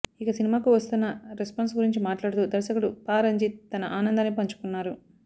ఇక సినిమాకు వస్తోన్న రెస్పాన్స్ గురించి మాట్లాడుతూ దర్శకుడు పా రంజిత్ తన ఆనందాన్ని పంచుకున్నారు